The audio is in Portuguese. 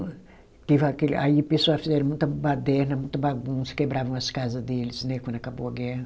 Teve aquele, aí pessoas fizeram muita baderna, muita bagunça, quebravam as casa deles, né, quando acabou a guerra.